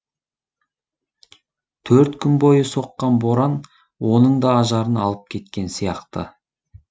төрт күн бойы соққан боран оның да ажарын алып кеткен сияқты